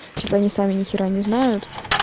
типа они сами нехера не знают